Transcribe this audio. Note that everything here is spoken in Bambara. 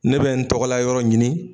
Ne bɛ n tɔgɔla yɔrɔ ɲini.